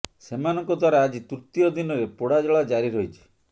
ସେମାନଙ୍କ ଦ୍ବାରା ଆଜି ତୃତୀୟ ଦିନରେ ପୋଡାଜଳା ଜାରି ରହିଛି